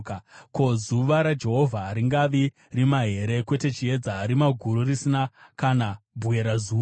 Ko, zuva raJehovha haringavi rima here, kwete chiedza, rima guru, risina kana bwerazuva?